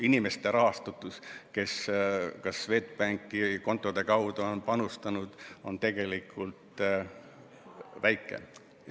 Inimeste osa, kes näiteks Swedbanki kontode kaudu on panustanud, on tegelikult väike.